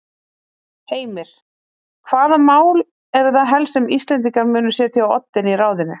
Heimir: Hvaða mál eru það helst sem Íslendingar munu setja á oddinn í ráðinu?